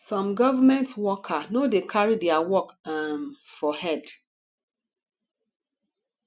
some government worker no dey carry their work um for head